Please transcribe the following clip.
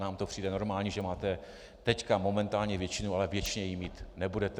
Nám to přijde normální, že máte teď momentálně většinu, ale věčně ji mít nebudete.